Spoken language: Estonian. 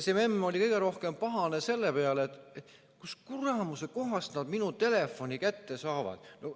See memm oli kõige rohkem pahane selle peale, kust kuramuse kohast nad tema telefoni kätte saavad.